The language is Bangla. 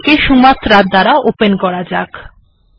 এটিকে সুমাত্রা এর দ্বারা ওপেন করা যাক